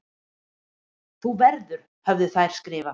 Þú verður höfðu þær skrifað.